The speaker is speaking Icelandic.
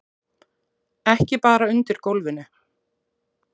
Ekki bara undir gólfinu.